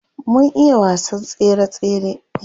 Mun iya wasan tsere tsere.